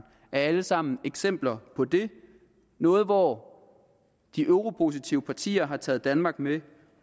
er alle sammen eksempler på det noget hvor de eu positive partier har taget danmark med